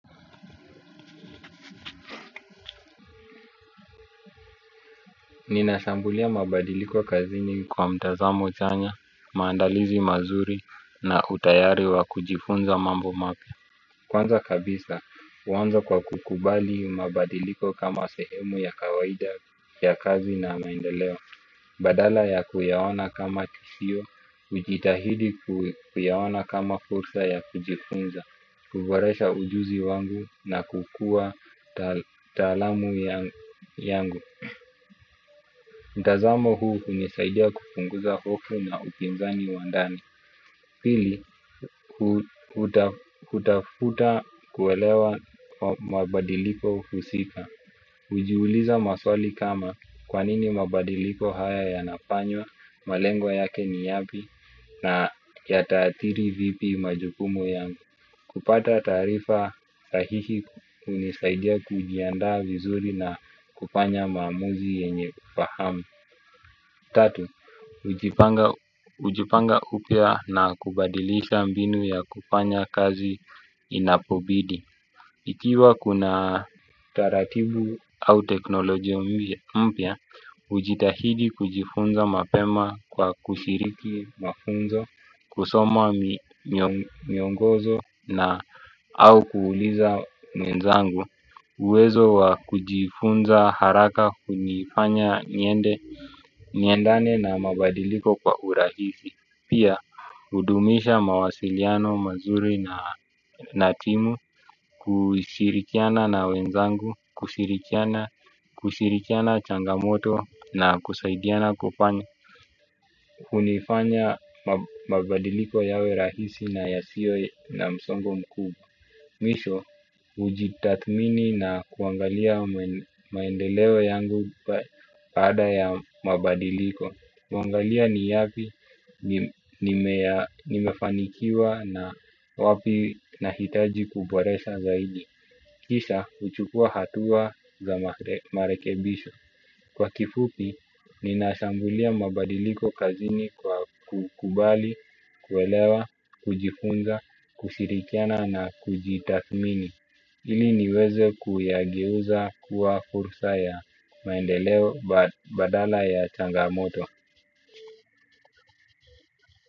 Ninashambulia mabadiliko kazini kwa mtazamo chanya, maandalizi mazuri na utayari wa kujifunza mambo mapya. Kwanza kabisa, huanza kwa kukubali mabadiliko kama sehemu ya kawaida ya kazi na maendeleo. Badala ya kuyaona kama tishio, hujitahidi kuyaona kama fursa ya kujifunza, kuboresha ujuzi wangu na kukua taalamu yangu mtazamo huu hunisaidia kupunguza hofu na upinzani wa ndani. Pili, hutafuta kuelewa mabadiliko husika. Hujiuliza maswali kama kwa nini mabadiliko haya yanafanywa, malengo yake ni yapi, na yataathiri vipi majukumu yangu. Kupata taarifa sahihi hunisaidia kujiandaa vizuri na kufanya maamuzi yenye ufahamu. Tatu, hujipanga upya na kubadilisha mbinu ya kufanya kazi inapobidi. Ikiwa kuna taratibu au teknolojia mpya, hujitahidi kujifunza mapema kwa kushiriki mafunzo, kusoma miongozo na au kuuliza mwenzangu. Uwezo wa kujifunza haraka hunifanya niende, niendane na mabadiliko kwa urahisi. Pia, hudumisha mawasiliano mazuri na timu kushirikiana na wenzangu, kushirikiana changamoto na kusaidiana kufanya. Hunifanya mabadiliko yawe rahisi na yasio na msongo mkubwa. Mwisho, hujitathmini na kuangalia maendeleo yangu baada ya mabadiliko huangalia ni yapi nimefanikiwa na wapi nahitaji kuboresha zaidi. Kisha, huchukua hatua za marekebisho. Kwa kifupi, ninashambulia mabadiliko kazini kukubali, kuelewa, kujifunga, kushirikiana na kujitathmini ili niweze kuyageuza kuwa fursa ya maendeleo badala ya changamoto.